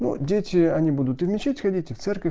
ну дети они будут и в мечеть ходить в церковь